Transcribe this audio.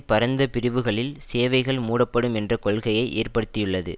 பரந்த பிரிவுகளில் சேவைகள் மூடப்படும் என்ற கொள்கையை ஏற்படுத்தியுள்ளது